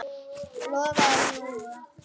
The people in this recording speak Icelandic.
Lofa eða ljúga?